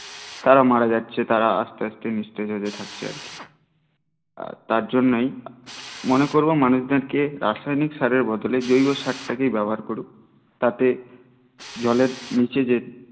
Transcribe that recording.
তারা মারা যাচ্ছে তারা আস্তে আস্তে থাকছে আর কি তার জন্যেই মনে করবো মানুষ জনকে রাসায়নিক সারের বদলে জৈব সার টা কেই ব্যবহার করুক তাতে জলের নিচে যে